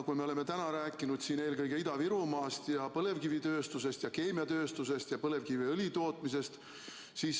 Me oleme täna rääkinud siin eelkõige Ida‑Virumaast, põlevkivitööstusest, keemiatööstusest ja põlevkiviõli tootmisest.